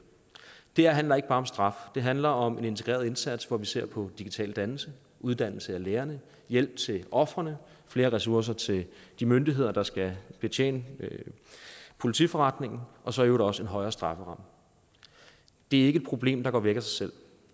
det her handler ikke bare om straf det handler om en integreret indsats hvor vi ser på digital dannelse uddannelse af lærerne hjælp til ofrene flere ressourcer til de myndigheder der skal betjene politiforretningen og så i øvrigt også en højere strafferamme det er ikke et problem der går væk af sig selv